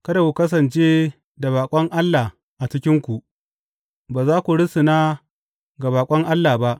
Kada ku kasance da baƙon allah a cikinku; ba za ku rusuna ga baƙon allah ba.